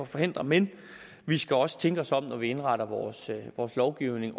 forhindre men vi skal også tænke os om når vi indretter vores lovgivning